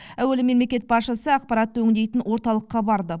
әуелі мемлекет басшысы ақпаратты өңдейтін орталыққа барды